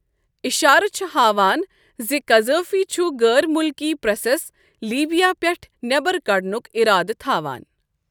اِشارٕ چھِ ہاوان زِ قذافی چھُ غٲر مُلکی پریسَس لیبیا پٮ۪ٹھٕ نٮ۪بَر کڑنُک اِرادٕ تھاوان۔